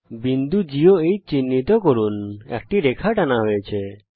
বিন্দু G এবং H কে চিহ্নিত করুন একটি রেখা টানা হয়েছে